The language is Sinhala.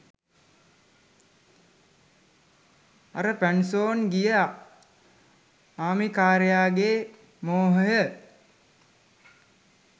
අර පැන්සොන් ගිය ආමිකාරයාගේ මෝහය